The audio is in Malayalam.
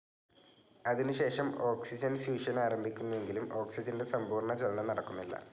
അതിനുശേഷം ഓക്സിജൻ ഫ്യൂഷൻ ആരംഭിക്കുന്നുവെങ്കിലു ഓക്സിജൻ്റെ സമ്പൂർണജ്വലനം നടക്കുന്നില്ല.